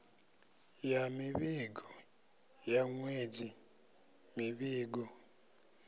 ya mivhigo ya ṅwedzi mivhigo